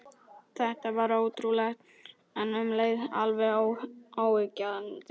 Þetta var ótrúlegt, en um leið alveg óyggjandi.